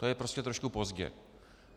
To je prostě trošku pozdě.